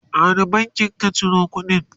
a wani bankin ka Ciro kudin?